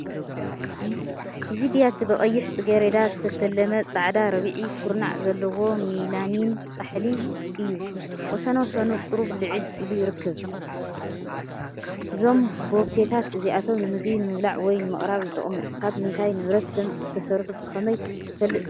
እዚ ብያቲ ብቐይሕ ጽጌረዳ ዝተሰለመ ጻዕዳ ርብዒ ኩርናዕ ዘለዎ ሜላሚን ጻሕሊ እዩ። ወሰናስኑ ቁሩብ ልዕል ኢሉ ይርከብ። እዞም ቦፌታት እዚኣቶም ንምግቢ ንምብላዕ ወይ ንምቕራብ ይጥቀሙ። ካብ ምንታይ ንብረት ከም እተሰርሑ ብኸመይ ክትፈልጥ ትኽእል?